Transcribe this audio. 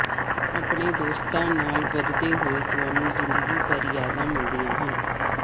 ਆਪਣੇ ਦੋਸਤਾਂ ਨਾਲ ਵਧਦੇ ਹੋਏ ਤੁਹਾਨੂੰ ਜ਼ਿੰਦਗੀ ਭਰ ਯਾਦਾਂ ਮਿਲਦੀਆਂ ਹਨ